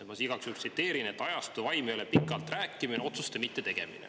Ma siis igaks juhuks tsiteerin: "Ajastu vaim ei ole pikalt rääkimine, otsuste mittetegemine.